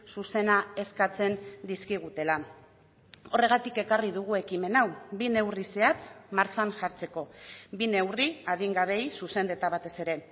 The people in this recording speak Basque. zuzena eskatzen dizkigutela horregatik ekarri dugu ekimen hau bi neurri zehatz martxan jartzeko bi neurri adingabeei zuzenduta batez ere